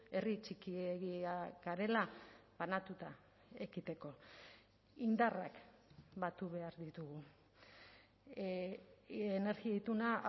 herri txikiegia garela banatuta ekiteko indarrak batu behar ditugu energia ituna